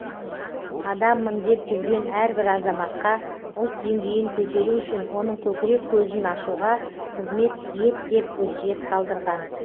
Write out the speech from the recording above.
адаммын деп жүрген әрбір азаматқа ұлт деңгейін көтеру үшін оның көкірек көзін ашуға қызмет ет деп өсиет қалдырған